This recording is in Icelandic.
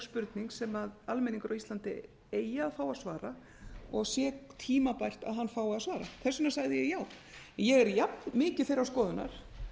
spurning sem almenningur á íslandi eigi að fá að svara og sé tímabært að hann fái að svara hvers vegna sagði ég já ég er jafnmikið þeirrar skoðunar